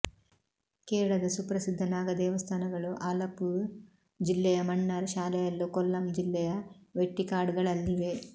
ಕೇರಳದ ಸುಪ್ರಸಿದ್ಧ ನಾಗ ದೇವಸ್ಥಾನಗಳು ಆಲಪ್ಪುೞ ಜಿಲ್ಲೆಯ ಮಣ್ಣಾರ್ ಶಾಲೆಯಲ್ಲೂ ಕೊಲ್ಲಂ ಜಿಲ್ಲೆಯ ವೆಟ್ಟಿಕಾಡ್ಗಳಲ್ಲಿವೆ